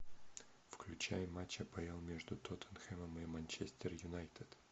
включай матч апл между тоттенхэмом и манчестер юнайтед